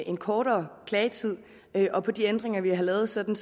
en kortere klagetid og på de ændringer vi har lavet sådan